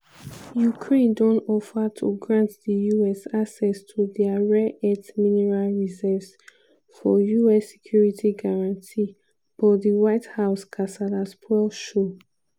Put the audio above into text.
ukraine don offer to grant di us access to dia rare earth mineral reserves for us security guarantee but di white house kasala spoil show.